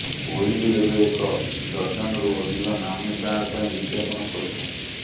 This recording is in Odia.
କୋହଲି ଏବେ ଏକ ଡଜନ୍ରୁ ଅଧିକ ନାମୀ ବ୍ରାଣ୍ଡ୍ ପାଇଁ ବିଜ୍ଞାପନ କରୁଛନ୍ତି